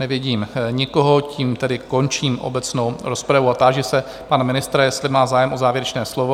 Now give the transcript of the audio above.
Nevidím nikoho, tím tedy končím obecnou rozpravu a táži se pana ministra, jestli má zájem o závěrečné slovo?